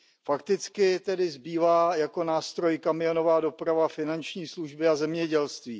Fakticky tedy zbývá jako nástroj kamionová doprava, finanční služby a zemědělství.